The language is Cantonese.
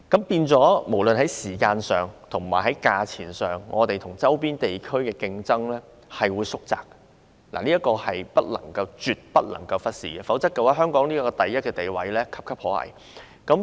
因此，無論是在時間上或價錢上，香港跟周邊地區的競爭力差距將會縮窄，這一點是絕對不能忽視的，否則香港位列第一名的地位便岌岌可危。